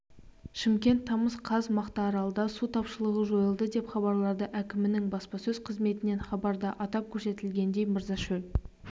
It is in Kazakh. шымкент тамыз қаз мақтааралда су тапшылығы жойылды деп хабарлады әкімінің баспасөз қызметінен хабарда атап көрсетілгендей мырзашөл